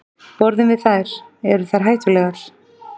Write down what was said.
Borðum við þær, eru þær hættulegar?